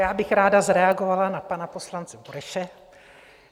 Já bych ráda zareagovala na pana poslance Bureše.